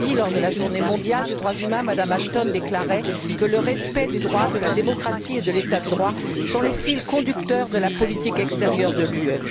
Lundi, lors de la Journée mondiale des droits humains, Mme Ashton déclarait que le respect des droits de la démocratie et de l'état de droit était le fil conducteur de la politique extérieure de l'Union.